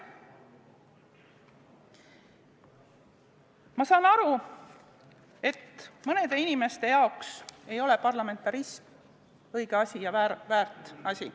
Ma saan aru, et mõnede inimeste jaoks ei ole parlamentarism õige ja väärt asi.